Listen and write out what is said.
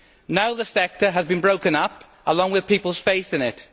Now the sector has been broken up, along with people's faith in it.